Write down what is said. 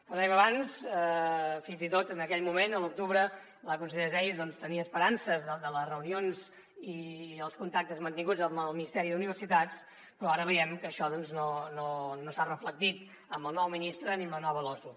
com dèiem abans fins i tot en aquell moment a l’octubre la conselleria geis doncs tenia esperances en les reunions i els contactes mantinguts amb el ministeri d’universitats però ara veiem que això no s’ha reflectit amb el nou ministre ni amb la nova losu